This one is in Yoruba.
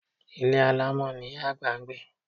Ilé alámọ̀ ni Ìyá àgbà ń gbé.